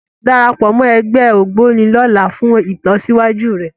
Darapọ̀ mọ́ ẹgbẹ́ Ògboni lọ́la fún ìlọsíwájú rẹ